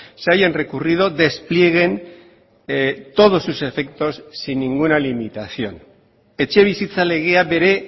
se hayan recurrido desplieguen todos sus efectos sin ninguna limitación etxebizitza legea bere